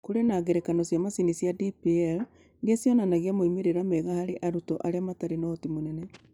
Kũrĩ na ngerekano cia macini cia DPL iria cionanagia moimĩrĩro mega harĩ arutwo arĩa matarĩ na ũhoti mũnene.